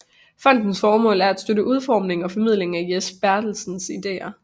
Fondens formål er at støtte udformningen og formidlingen af Jes Bertelsens ideer